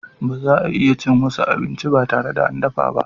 Baza a iya cin wasu abinci ba tare da an dafa ba.